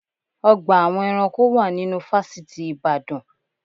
Ọgbà awọn eranko wà nínú fásitì ìbàdàn.